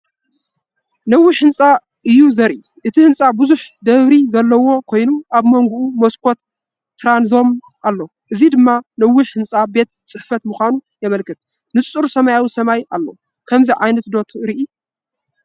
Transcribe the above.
ነዊሕ ህንጻ እዩ ዘርኢ። እቲ ህንጻ ብዙሕ ደርቢ ዘለዎ ኮይኑ፡ ኣብ መንጎኡ መስኮት ትራንዞም ኣሎ፡ እዚ ድማ ነዊሕ ህንጻ ቤት ጽሕፈት ምዃኑ የመልክት። ንጹር ሰማያዊ ሰማይ ኣሎ። ኸምዚ ዓይነት ዶ ትሪኢ?